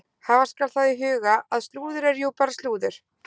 Hafa skal það í huga að slúður er jú bara slúður.